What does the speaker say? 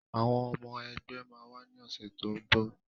Àwọn ọmọ ẹgbẹ́ máa wá ní ọ̀sẹ̀ tó ń bọ̀